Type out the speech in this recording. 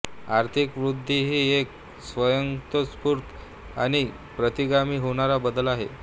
आर्थिक वृद्धी ही एक स्वयंस्फूर्त आणि प्रतिगामी होणारा बदल आहे